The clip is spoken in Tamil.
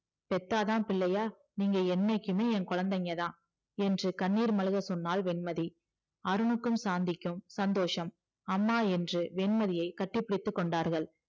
பெத்தாத பிள்ளையா நீங்க என்னைக்குமே என் குழந்தைங்கதா என்று கண்ணீர்மல்க சொன்னால் வெண்மதி அருணுக்கும் சாந்திக்கும் சந்தோசம் அம்மா என்று வெண்மதியை கட்டி பிடித்தார்கள்